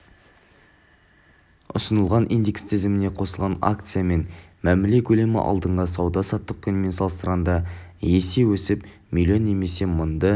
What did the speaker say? ұсынылған индекс тізіміне қосылған акциямен мәміле көлемі алдыңғы сауда-саттық күнімен салыстырғанда есе өсіп млн немесе мыңды